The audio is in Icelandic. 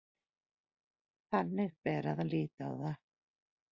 Þannig bera að líta á það